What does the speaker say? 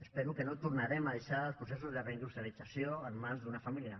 espero que no tornarem a deixar els processos de reindustrialització en mans d’una família